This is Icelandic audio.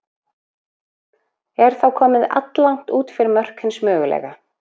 Er þá komið alllangt út fyrir mörk hins mögulega.